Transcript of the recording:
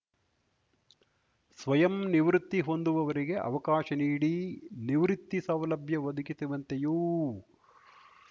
ಸ್ವಯಂ ನಿವೃತ್ತಿ ಹೊಂದುವವರಿಗೆ ಅವಕಾಶ ನೀಡಿ ನಿವೃತ್ತಿ ಸೌಲಭ್ಯ ಒದಗಿಸುವಂತೆಯೂ